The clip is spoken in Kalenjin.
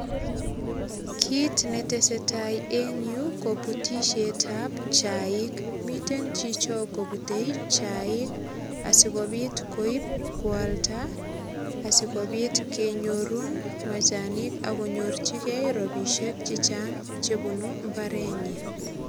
Kit ne tesetai eng u ko butisietab chaik. Miten chicho kobute chaik sigopit koip kwalda asigopit kenyor machanik ak konyorchigei ropisiek che chang che bunu imbarenyi